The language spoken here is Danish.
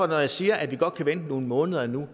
når jeg siger at vi godt kan vente nogle måneder endnu